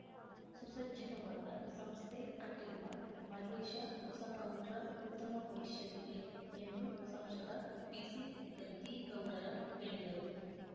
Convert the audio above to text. ಸುಸಜ್ಜಿತವಾದ ಸಂಸ್ಥೆ ಕಟ್ಟಿರುವ ಮಹೇಶ ಹೊಸಗೌಡ್ರ ಉತ್ತಮ ಭವಿಷ್ಯವಿದೆ ಎಂದು ಸಂಸದ ಪಿಸಿಗದ್ದಿಗೌಡರ ಹೇಳಿದರು